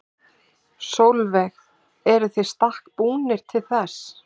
Sólveig: Eruð þið í stakk búnir til þess?